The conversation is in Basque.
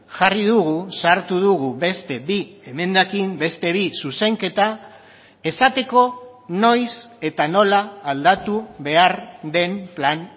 jarri dugu sartu dugu beste bi emendakin beste bi zuzenketa esateko noiz eta nola aldatu behar den plan